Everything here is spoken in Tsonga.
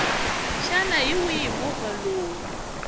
xana hi wihi movha lowu